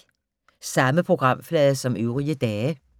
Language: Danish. Samme programflade som øvrige dage